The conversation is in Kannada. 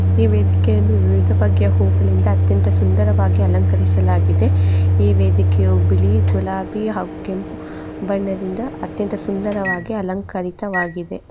ಈ ವೇಧಿಕೆಯನ್ನು ವಿವಿಧ ಬಗೆಯ ಹೂವಗಳಿಂದ ಅತ್ಯಂತ ಸುಂದರವಾಗಿ ಅಲಂಕರಿಸಲ್ಲಗಿದೆ ಈ ವೇದೇಕೆಯು ಬಿಳಿ ಗುಲಾಬಿ ಹಾಗು ಕೆಂಪು ಬಣ್ಣದಿಂದ ಅತ್ಯ್ಎಂಥ ಸುಂದರವಾಗಿ ಅಲಂಕರಿತವಾಗಿದೆ .